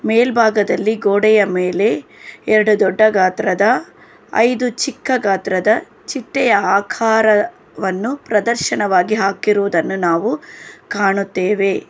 ಮೇಲ್ಭಾಗದಲ್ಲಿ ಗೋಡೆಯ ಮೇಲೆ ಎರಡು ದೊಡ್ಡ ಗಾತ್ರದ ಐದು ಚಿಕ್ಕ ಗಾತ್ರದ ಚಿಟ್ಟೆಯ ಆಕಾರವನ್ನು ಪ್ರದರ್ಶನವಾಗಿ ಹಾಕಿರುವುದನ್ನು ನಾವು ಕಾಣುತ್ತೇವೆ.